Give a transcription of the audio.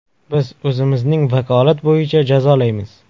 Biz o‘zimizning vakolat bo‘yicha jazolaymiz.